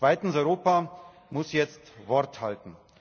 Zweitens Europa muss jetzt Wort halten.